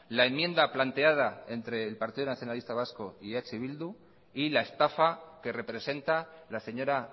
la enmienda planteada entre el partido nacionalista vasco y eh bildu y la estafa que representa la señora